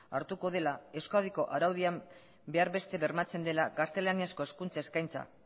hartuko dela euskadiko araudian behar beste bermatzen dela gaztelaniazko hezkuntza eskaintza